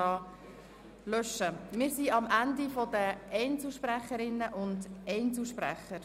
Wir befinden uns somit am Ende der Liste der Einzelsprecherinnen und Einzelsprecher.